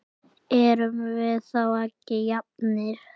Erum við þá ekki jafnir?